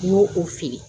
N y'o o feere